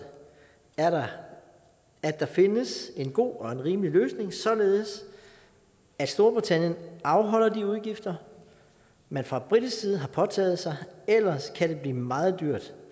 er at der findes en god og en rimelig løsning således at storbritannien afholder de udgifter man fra britisk side har påtaget sig ellers kan det blive meget dyrt